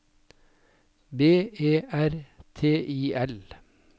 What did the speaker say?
B E R T I L